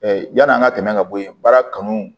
yann'an ka tɛmɛ ka bɔ yen baara kanu